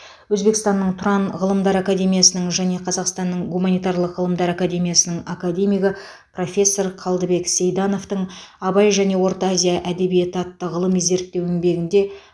өзбекстанның тұран ғылымдар академиясының және қазақстанның гуманитарлық ғылымдар академиясының академигі профессор қалдыбек сейдановтың абай және орта азия әдебиеті атты ғылыми зерттеу еңбегінде